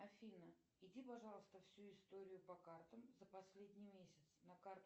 афина иди пожалуйста всю историю по картам за последний месяц на карту